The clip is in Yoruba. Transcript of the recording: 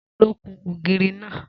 Ta ló kun ògiri náà?